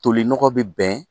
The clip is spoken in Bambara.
Tolinɔgɔ bɛ bɛn